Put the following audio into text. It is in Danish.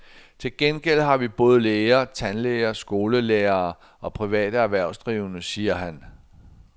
Til gengæld har vi både læger, tandlæger, skolelærere og private erhvervsdrivende, siger han.